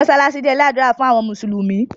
masalasi jé ilé ádùrá fún àwọn mùsùlùmí.